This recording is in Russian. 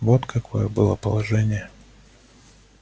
вот какое было положение